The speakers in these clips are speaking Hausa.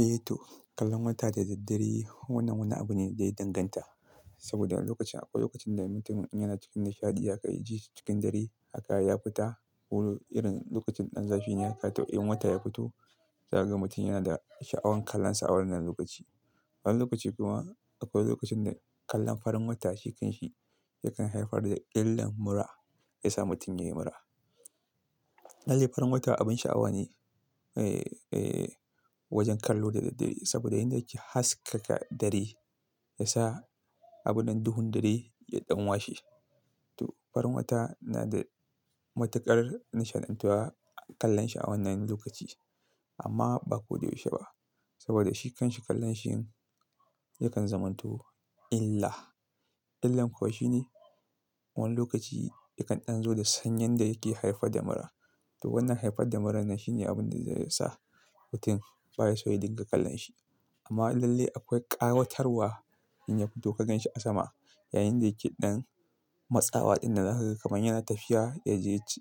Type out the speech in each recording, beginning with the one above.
Eh to, kallon wata da dare wannan wani abu ne da ya danganta. Saboda lokacin akwai lokacin da mutum in yana cikin nishaɗi aka iji shi cikin dare haka ya fita. Wu irin lokacin ɗan zafi ne ya ka tau in wata ya fito. Zage mutum yana da sha'awan kallonsa wannan lokaci. Wani lokaci kuma akwai lokacin da kallon farin wata shikan shi yakan haifar da illan mura, ya sa mutum ya yi mura. Lalle farin wata abin sha'awa ne, eh, eh wajen kallo da daddare. Saboda inda yake haskaka dare ya sa abun nan duhun dare ya ɗan washe. To farin wata na da matuƙar nishaɗantuwa a kallon shi a wannan lokaci. Amma ba koda yaushe ba saboda shi kan shi kallon shi yakan zamanto illa. Illan kuwa shine wani lokaci yakan ɗan zo da sanyin da yake haifar da mura. To wannan haifar da murar nan shine abun da zai sa mutum baya so ya dinga kallon shi. Amma lallai akwai ƙawatarwa in ya fito ka ganshi a sama. Yayin da yake ɗan matsawa dinnan haka kuma yana tafiya,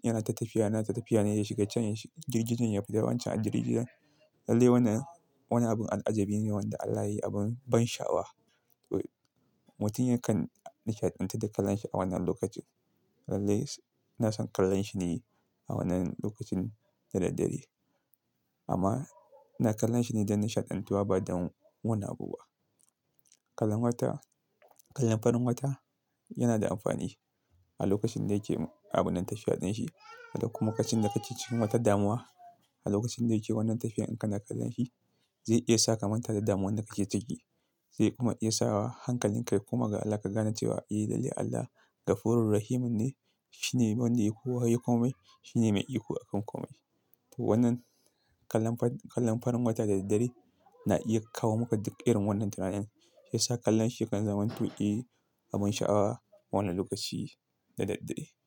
yana ta tafiya, yana tafiya ne za shiga can girgijen ya fi tawancin a girgijen. Lallai wannan wani abun al'ajabi ne wanda Allah ya yi abin ban sha'awa. Mutum yakan nishaɗantu da kallon shi a wannan lokacin. Lallai na son kallon shi ne a wannan lokacin da daddare. Amma ina kallon shi ne don nishaɗantuwa ba don wani abubuwa. Kallon wata, kallon farin wata yana da amfani a lokacin da yake abun ɗan tafiya ɗin shi. Kuma kacin da kake cikin wata damuwa a lokacin da yake wannan tafiyar in kana kallon shi zai iya sakamata da damuwan da kake ciki. Zai kuma iya sawa hankalinka kuma ga Allah ka gane cewa eh lallai Allah Gafurur Rahimun ne. Shi ne wanda ya kowa ya yi komai. Shi ne mai iko a kan komai. Wannan kallon farin wata da daddare na iya kawo maka duk irin wannan tunanin. Ya sa kallon shi yakan zamanto eh abin sha'awa wannan lokaci da daddare.